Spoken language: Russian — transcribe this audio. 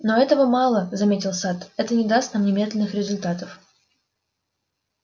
но этого мало заметил сатт это не даст нам немедленных результатов